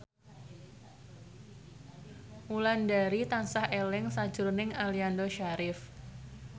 Wulandari tansah eling sakjroning Aliando Syarif